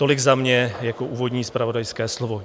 Tolik za mě jako úvodní zpravodajské slovo.